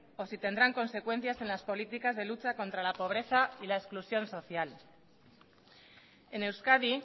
o si tendrán consecuencias en las políticas de lucha contra la pobreza y la exclusión social en euskadi